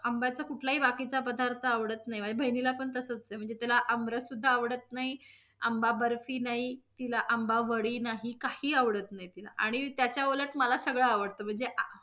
आंब्याचा कुठलाही बाकीचा पदार्थ आवडत नाही माझ्या बहिणीला पण तसच आहे. म्हणजे तिला आमरस सुध्दा आवडत नाही, आंबा बर्फी नाही, तिला आंबा वडी नाही, काही आवडत नाही तिला आणि त्याच्या उलट मला सगळ आवडत. म्हणजे आ~